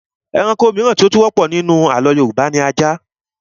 Ẹranko mìíràn tí ó tún wọ́pọ̀ nínú àlọ́ Yorùbá ni ajá